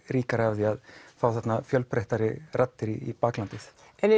ríkari af því að fá þarna fjölbreyttari raddir í baklandið